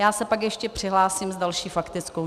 Já se pak ještě přihlásím s další faktickou.